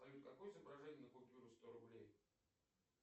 салют какое изображение на купюре сто рублей